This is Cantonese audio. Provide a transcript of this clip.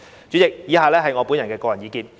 主席，以下是我的個人意見。